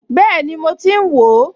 Bẹ́ẹ̀ni mo ti ń wò ó